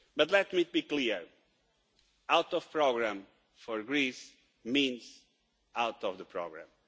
But let me be clear, being out of the programme means Greece being out of the programme.